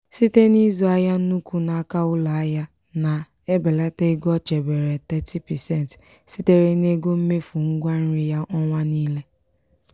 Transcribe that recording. siteb n'ịzụ ahịa n'ụkwu n'aka ụlọ ahịa na- ebelata ego o chebere 30% sitere n'ego mmefu ngwa nri ya ọnwa niile.